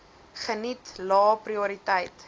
geniet lae prioriteit